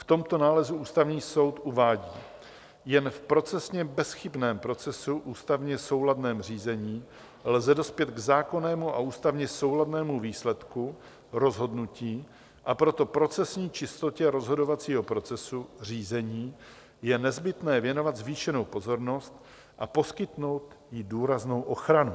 V tomto nálezu Ústavní soud uvádí: Jen v procesně bezchybném procesu, ústavně souladném řízení, lze dospět k zákonnému a ústavně souladnému výsledku - rozhodnutí -, a proto procesní čistotě rozhodovacího procesu řízení je nezbytné věnovat zvýšenou pozornost a poskytnout jí důraznou ochranu.